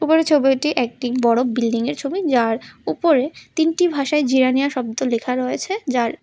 ওপরের ছবিটি একটি বড় বিল্ডিংয়ের ছবি যার ওপরে তিনটি ভাষায় জিরানীয়া শব্দ লেখা রয়েছে যার--